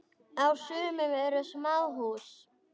Á sumum eru smáhús.